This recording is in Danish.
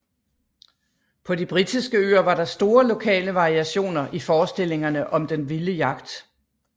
På de britiske øer var der store lokale variationer i forestillingerne om den vilde jagt